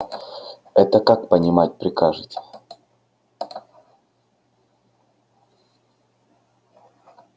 это как понимать прикажете